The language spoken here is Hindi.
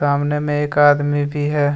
सामने में एक आदमी भी है।